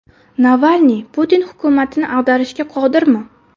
Navalniy Putin hukumatini ag‘darishga qodirmi?